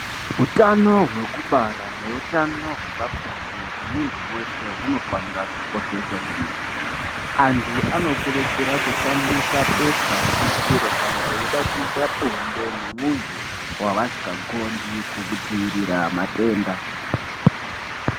Utano hwekubara neutano hwepabonde hwemunhu weshe hunofanire kukosheswa kwemene anhu anokurudzirwa kushandisa bepa rebutiro kana veida kuita bonde nemunhu wavasingagondi kudziirira matenda.